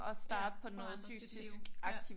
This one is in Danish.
Ja prøve at ændre sit liv ja